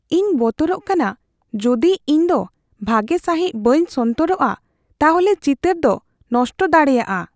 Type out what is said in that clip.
ᱤᱧ ᱵᱚᱛᱚᱨᱚᱜ ᱠᱟᱱᱟ ᱡᱩᱫᱤ ᱤᱧ ᱫᱚ ᱵᱷᱟᱜᱮ ᱥᱟᱹᱦᱤᱫ ᱵᱟᱹᱧ ᱥᱚᱱᱛᱚᱨᱚᱜᱼᱟ ᱛᱟᱦᱚᱞᱮ ᱪᱤᱛᱟᱹᱨ ᱫᱚ ᱱᱚᱥᱴᱚ ᱫᱟᱲᱮᱭᱟᱜᱼᱟ ᱾